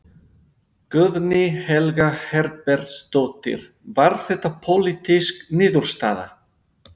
Guðný Helga Herbertsdóttir: Var þetta pólitísk niðurstaða?